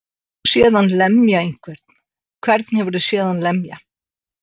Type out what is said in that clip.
Hefurðu séð hann lemja einhvern. hvern hefurðu séð hann lemja?